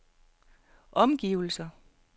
omgivelser